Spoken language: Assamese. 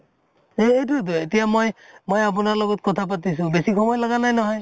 এইটোয়ে তো এতিয়া মই আপোনাৰ লগত কথা পাতিছো বেছি সময় লাগা নাই নহয়